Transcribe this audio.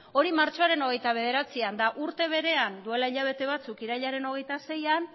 hori martxoaren hogeita bederatzian eta urte berean duela hilabete batzuk irailaren hogeita seian